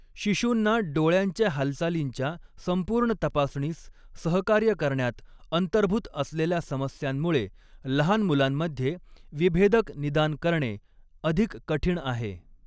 शिशूंना डोळ्यांच्या हालचालींच्या संपूर्ण तपासणीस सहकार्य करण्यात अंतर्भूत असलेल्या समस्यांमुळे, लहान मुलांमध्ये, विभेदक निदान करणे अधिक कठीण आहे.